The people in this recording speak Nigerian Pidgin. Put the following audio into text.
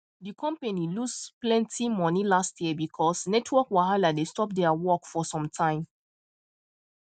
the company lose plenty money last year because network wahala dey stop their work for some time